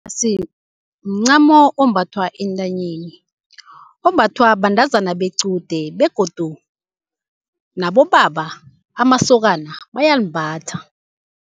mncamo ombathwa entanyeni, ombathwa bantazana bequde begodu nabobaba, amasokana bayalimbatha.